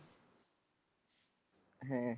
ਹੈ?